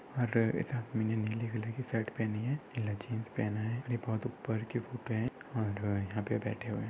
और इधर उन्होने नीले कलर की शर्ट पहनी है एकला जीन्स पहना है और ये बहुत ऊपर की फोटो है और यहा पे बैठे हुए है।